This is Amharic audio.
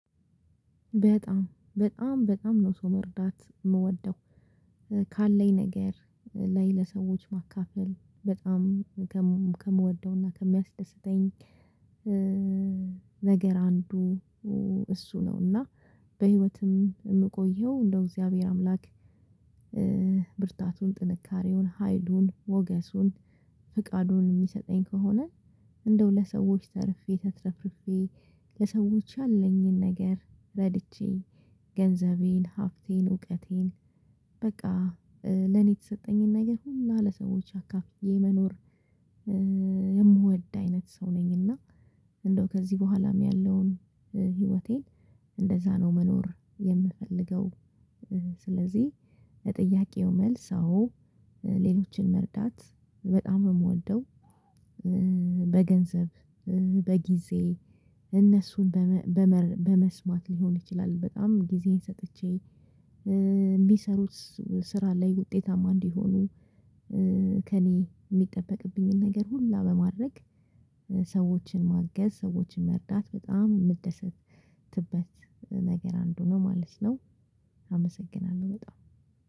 በጣም በጣም በጣም ነው ሰው መርዳት የምወደው። ካለኝ ነገር ላይ ለሰዎች ማካፈል በጣም ከምወደውና ከሚያስደስተኝ ነገር አንዱ እሱ ነው። እና በህይወትም የምቆየው እንደው እግዚአብሔር አምላክ ብርታቱን ጥንካሬውን፣ ሀይሉን፣ ሞገሱን፣ ፍቃዱን የሚሰጠኝ ከሆነ እንደው ለሰዎች ተርፌ ተትረፍርፌ ለሰዎች ያለኝን ነገር ረድቼ ገንዘቤን፣ ሀብቴን፣ እውቀቴን በቃ ለኔ የተሰጠኝን ነገር ሁሉ ለሰዎች አካፍዬ መኖር የምወድ አይነት ሰው ነኝ እና እንደው ከዚህ በኋላም ያለውን ህይወቴን እንደዛ ነው መኖር የምፈልገው። ስለዚህ ለጥያቄው መልስ አዎ። ሌሎችን መርዳት በጣም የምወልደው። በገንዘብ፣ በጊዜ እነሱን በመስማት ሊሆን ይችላል በጣም ጊዜዬን ሰጥቼ የሚሰሩት ስራ ላይ ውጤታማ እንዲሆኑ ከእኔ የሚጠበቅብኝን ነገር ሁላ በማድረግ ሰዎችን ማገዝ፣ ሰዎችን መርዳት በጣም የምትደሰትበት ነገር አንዱ ነው ማለት ነው። አመሰግናለሁ በጣም።